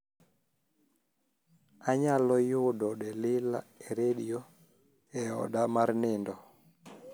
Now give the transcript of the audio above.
anyalo udo delila e redio e oda mar nindo